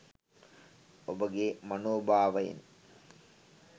ඔබගේ මනෝභාවයන්